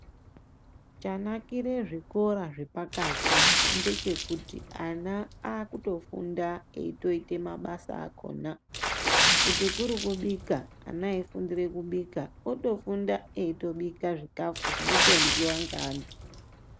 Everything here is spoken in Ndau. Chanakira zvikora zvepakati ndechekuti akutofunda eita mabasa akona kuti kuri kubika ana eifundira kubika anofundira eibika zvikafu zvinenge zveiryiwa neantu.